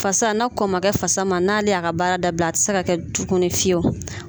Fasa na kɔn ma kɛ fasa ma n'ale y'a ka baara da bila a ti se ka kɛ tukunu fiyewo.